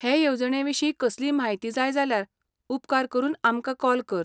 हे येवजणेविशीं कसलीय म्हायती जाय जाल्यार उपकार करून आमकां कॉल कर.